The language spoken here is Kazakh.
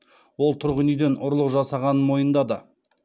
ол тұрғын үйден ұрлық жасағанын мойындады